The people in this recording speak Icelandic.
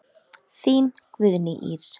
Þín Guðný Ýr.